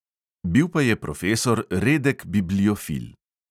Bil pa je profesor redek bibliofil.